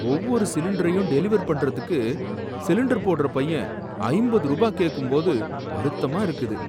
ஒவ்வொரு சிலிண்டரையும் டெலிவர் பண்றதுக்கு, சிலிண்டர் போடுற பையன் ஐம்பது ரூபாய் கேக்கும்போது வருத்தமா இருக்குது.